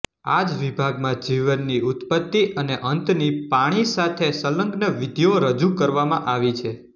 આ જ વિભાગમાં જીવનની ઉત્પત્તિ અને અંતની પાણી સાથે સંલગ્ન વિધિઓ રજૂ કરવામાં આવી છે